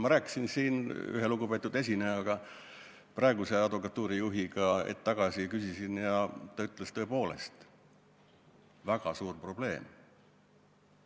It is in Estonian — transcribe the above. Ma rääkisin siin hetk tagasi ühe lugupeetud esinejaga, praeguse advokatuuri juhiga, küsisin ta käest ja ta ütles, et on tõepoolest väga suur probleem.